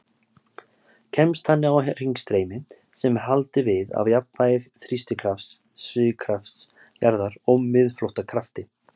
Kemst þannig á hringstreymi sem er haldið við af jafnvægi þrýstikrafts, svigkrafts jarðar og miðflóttakrafti.